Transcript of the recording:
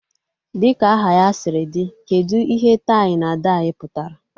Dịka aha ya sịrị dị, kedụ ihe tai na dai pụtara?